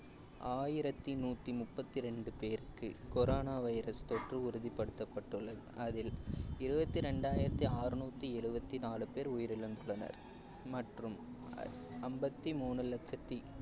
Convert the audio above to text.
ஆயிரத்தி நூத்தி முப்பத்தி ரெண்டு பேருக்கு corona virus தொற்று உறுதிப்படுத்தப்பட்டுள்ளது அதில் இருபத்தி இரண்டாயிரத்தி அறுநூத்தி எழுபத்தி நாலு பேர் உயிரிழந்துள்ளனர் மற்றும் அம்பத்தி மூணு லட்சத்தி